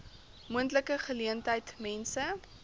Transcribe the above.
moontlike geleentheid mense